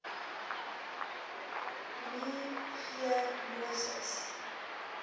me g moses